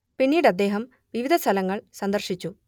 പിന്നീട് അദ്ദേഹം വിവിധ സ്ഥലങ്ങൾ സന്ദർശിച്ചു